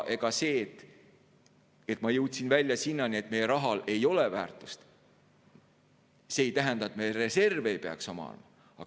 Ega see, et ma jõudsin välja selleni, et meie rahal ei ole väärtust, ei tähenda, et me reserve ei peaks omama.